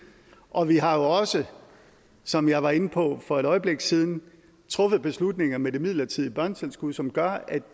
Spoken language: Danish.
og vi har jo også som jeg var inde på for et øjeblik siden truffet beslutning om det midlertidige børnetilskud som gør at